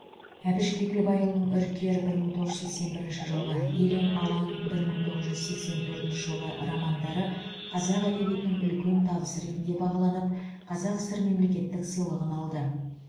әбіш кекілбайұлының үркер бір мың тоғыз жүз сексен бірінші жылғы елең алаң бір мың тоғыз жүз сексен төртінші жылғы романдары қазақ әдебиетінің үлкен табысы ретінде бағаланып қазақ сср мемлекеттік сыйлығын алды